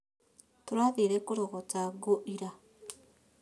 Tũrathire kũrogota ngũira